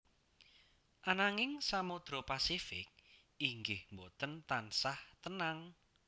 Ananging Samodra Pasifik inggih boten tansah tenang